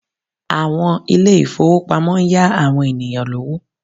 Àwọn ilé ìfowópamọ́ ń yá àwọn ènìyàn lówó